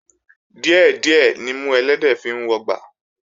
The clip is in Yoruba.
Díẹ̀ díẹ̀ nimú ẹlẹ́dẹ̀ẹ́ fi ń wọgbà